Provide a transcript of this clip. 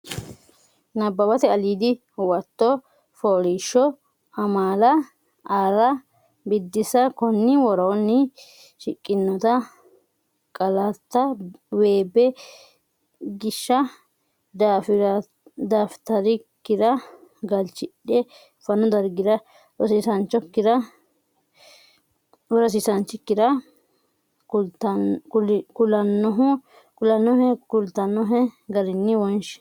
Nabbawate Albiidi Huwato OOlIIShShO AMAlA ArrA Biddissa Konni woroonni shiqqinota qaallate weebe gishsha dafita’rikkira galchidhe fanu dargira rosiisaanchi(o)kki kulannohe kultannohe garinni wonshi.